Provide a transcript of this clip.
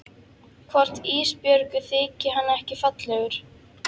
Hvort Ísbjörgu þyki hann ekki fallegur?